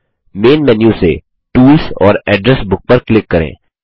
main menu से tools और address book पर क्लिक करें